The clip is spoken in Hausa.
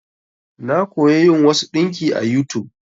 Na koya yin wasu ɗinki a YouTube.